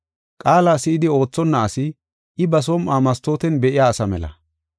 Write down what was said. Qaala si7idi oothonna asi, I ba som7uwa mastooten be7iya asa mela.